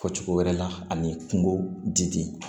Fɔ cogo wɛrɛ la ani kungo diden